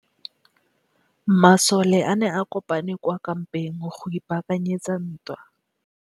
Masole a ne a kopane kwa kampeng go ipaakanyetsa ntwa.